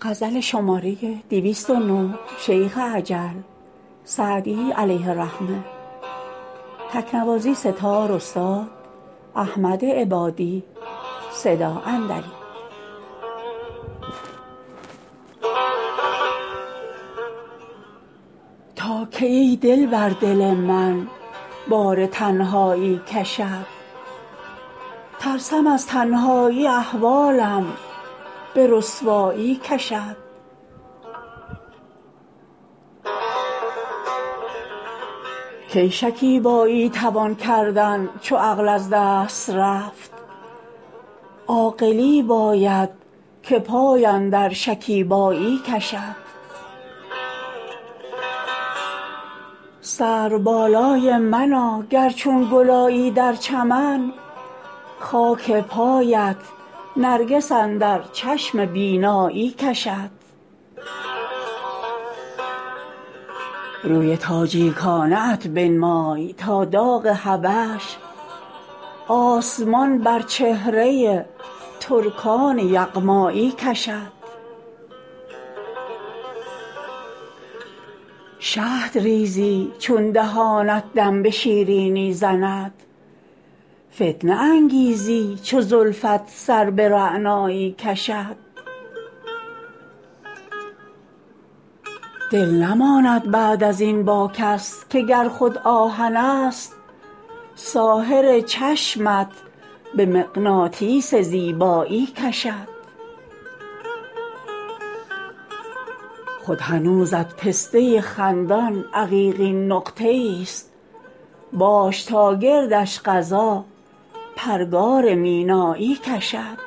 تا کی ای دلبر دل من بار تنهایی کشد ترسم از تنهایی احوالم به رسوایی کشد کی شکیبایی توان کردن چو عقل از دست رفت عاقلی باید که پای اندر شکیبایی کشد سروبالای منا گر چون گل آیی در چمن خاک پایت نرگس اندر چشم بینایی کشد روی تاجیکانه ات بنمای تا داغ حبش آسمان بر چهره ترکان یغمایی کشد شهد ریزی چون دهانت دم به شیرینی زند فتنه انگیزی چو زلفت سر به رعنایی کشد دل نماند بعد از این با کس که گر خود آهنست ساحر چشمت به مغناطیس زیبایی کشد خود هنوزت پسته خندان عقیقین نقطه ایست باش تا گردش قضا پرگار مینایی کشد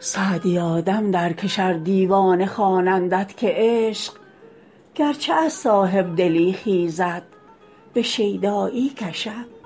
سعدیا دم درکش ار دیوانه خوانندت که عشق گرچه از صاحب دلی خیزد به شیدایی کشد